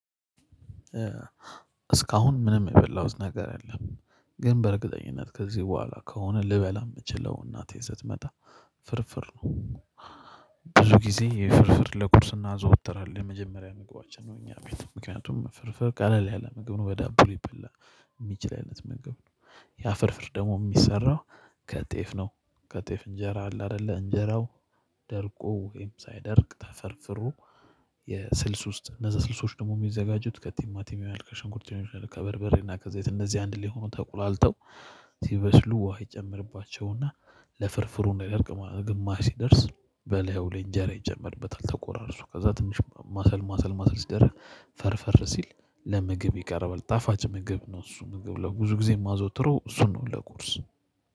እስካሁን ምንም የበላሁት ነገር የለም። ግን በእርግጠኝነት ከዚህ በኋላ ከሆነ ልበላ ምችለው እናቴ ስትመጣ ፍርፍር ነው። ብዙ ጊዜ የፍርፍር ለቁርስ እናዘወትራለን የመጀመሪያ ምግባችን ነው። እኛ ቤት ምክንያቱም ፍርፍር ቀለል ያለ ምግብ ነው በዳቦ ሊበላ የሚችል አይነት ምግብ ነው። ያ ፍርፍር ደግሞ የሚሰራው ከጤፍ ነው። ከጤፍ እንጀራ አለ አይደለ እንጀራው ደርቆ ወይም ሳይደርቅ ተፈርፍሮ የስልስ ውስጥ እነዛ ስልሶች ደግሞ የሚዘጋጁት ከቲማቲም ከሸንኩርት ሊሆን ይችላል። ከበርበሬና ከዘይት እነዚህ አንድ ሊሆኑ ተቁላልተው ሲበስሉ ውሃ ይጨምርባቸውና ለፍርፍሩ እንዳይደርቅ ግማሽ ሲደርስ በላዩ ላይ እንጀራ ይጨምርበታል ተቆራርሱ ከዛ ትንሽ ማሰል ማሰል ማሰል ሲደረግ ፈርፈር ሲል ለምግብ ይቀርባል። ጣፋጭ ምግብ ነው እሱ ምግብ ለብዙ ጊዜ የማዘወትረው እሱን ነው። ለቁርስ